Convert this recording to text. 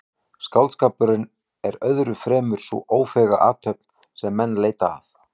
Skáldskapurinn er öðru fremur sú ófeiga athöfn sem menn leita að.